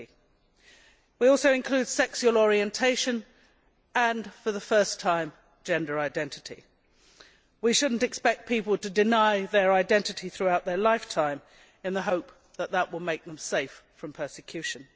30. We also include sexual orientation and, for the first time, gender identity. We should not expect people to deny their identity throughout their lifetime in the hope that this will make them safe from persecution.